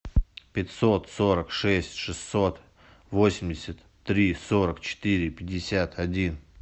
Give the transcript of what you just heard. пятьсот сорок шесть шестьсот восемьдесят три сорок четыре пятьдесят один